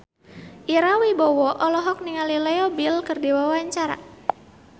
Ira Wibowo olohok ningali Leo Bill keur diwawancara